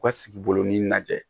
U ka sigi bolonin najɛ